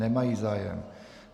Nemají zájem.